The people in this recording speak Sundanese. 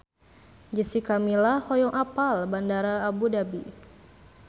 Jessica Milla hoyong apal Bandara Abu Dhabi